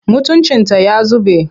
Mutuncinta ya zube.